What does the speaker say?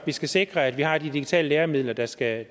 skal sikre at vi har de digitale læremidler der skal